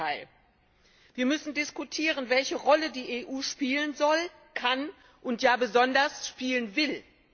Im Gegenteil! Wir müssen diskutieren, welche Rolle die EU spielen soll, kann und, ja, besonders spielen will.